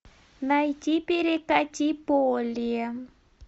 найти перекати поле